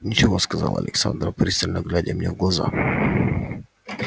ничего сказала александра пристально глядя мне в глаза